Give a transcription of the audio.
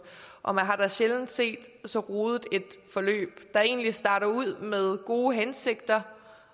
og man har da sjældent set så rodet et forløb der egentlig startede ud med gode hensigter